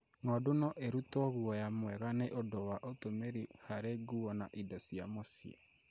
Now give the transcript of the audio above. Ng'ondu no irutwo guoya mwega nĩ ũndũ wa ũtũmĩri harĩ nguo na indo cia mũcii.